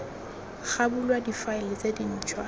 ga bulwa difaele tse dintšhwa